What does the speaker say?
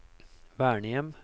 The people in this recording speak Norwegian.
vernehjem